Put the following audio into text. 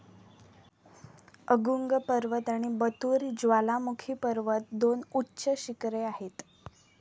Agung पर्वत आणि Batur ज्वालामुखी पर्वत दोन उच्च शिखरे आहेत.